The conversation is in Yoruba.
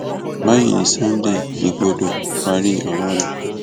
báyìí ni sunday igbodò parí ọrọ rẹ